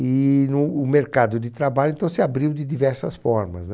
E no o mercado de trabalho, então, se abriu de diversas formas, né?